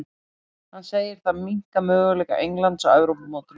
Hann segir það minnka möguleika Englands á Evrópumótinu í sumar.